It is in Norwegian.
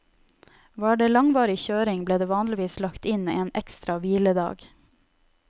Var det langvarig kjøring, ble det vanligvis lagt inn en ekstra hviledag.